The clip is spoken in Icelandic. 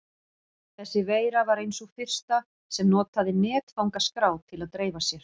Þessi veira var ein sú fyrsta sem notaði netfangaskrá til að dreifa sér.